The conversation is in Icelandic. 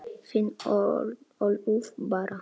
Þín Ólöf Bára.